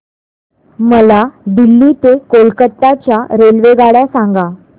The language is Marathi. मला दिल्ली ते कोलकता च्या रेल्वेगाड्या सांगा